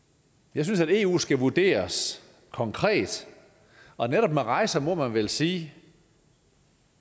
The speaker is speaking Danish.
jeg synes at eu skal vurderes konkret og netop med rejser må man vel sige